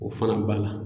O fana b'a la